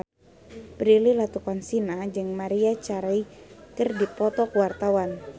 Prilly Latuconsina jeung Maria Carey keur dipoto ku wartawan